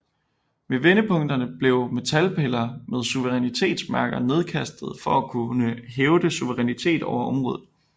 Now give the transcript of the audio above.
Ved vendepunkterne blev metalpiller med suverænitetsmærker nedkastede for at kunne hævde suverænitet over området